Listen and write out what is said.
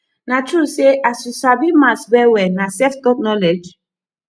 na true say as you sabi maths well well na self-taught knowledge